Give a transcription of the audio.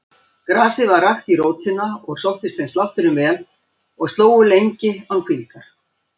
Grasið var rakt í rótina og sóttist þeim slátturinn vel og slógu lengi án hvíldar.